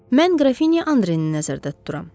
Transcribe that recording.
Mən Qrafinya Andreini nəzərdə tuturam.